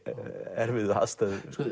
erfiðu aðstöðu